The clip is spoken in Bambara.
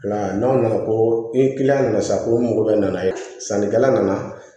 N'aw nana ko ni kiliyan nana sisan ko n mɔgɔ bɛ nana ye sannikɛla nana